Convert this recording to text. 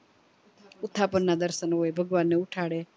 ઉથાપન ના દર્શન હોય ભગવાન ને ઉઠાડે